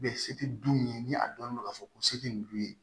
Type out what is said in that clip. se tɛ du ye ni a dɔnnen don ka fɔ ko se tɛ nin dun ye